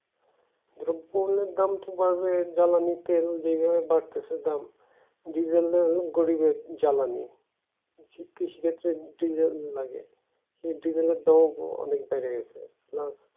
দ্রব্য মূল্যের দাম বাড়বে জ্বালানির তেল যেভাবে বাড়তেছে দাম diesel এর গরিবের জ্বালানি কৃষিক্ষেত্রে diesel লাগে কিন্তু diesel এর দাম অনেক বেড়ে গেছে